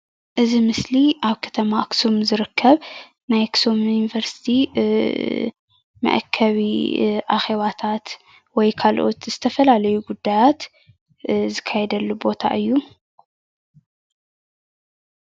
እዚ ምስሊ ኣብ ከተማ ኣክሱም ዝርከብ ናይ ኣክሱም ዩኒቨርስቲ መአከቢ አኬባታት ወይ ካልኦት ዝተፈላለዩ ጉዳያት ዝካየደሉ ቦታ እዩ፡፡